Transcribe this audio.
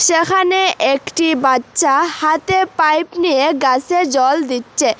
যেখানে একটি বাচ্চা হাতে পাইপ নিয়ে গাসে জল দিচ্ছে।